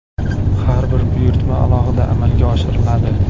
Har bir buyurtma alohida amalga oshiriladi.